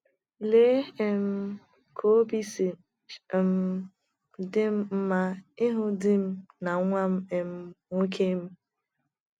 Lee um ka obi si um dị m mma ịhụ di m na nwa um m nwoke!